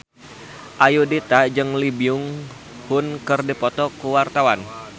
Ayudhita jeung Lee Byung Hun keur dipoto ku wartawan